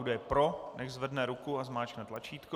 Kdo je pro, nechť zvedne ruku a zmáčkne tlačítko.